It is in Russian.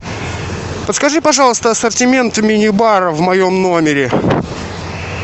подскажи пожалуйста ассортимент мини бара в моем номере